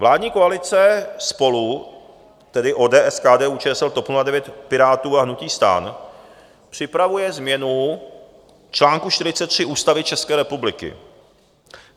Vládní koalice SPOLU, tedy ODS, KDU-ČSL, TOP 09, Pirátů a hnutí STAN, připravuje změnu článku 43 Ústavy České republiky.